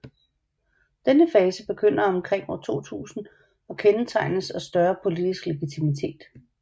Denne fase begynder omkring 2000 og kendetegnes af større politisk legitimitet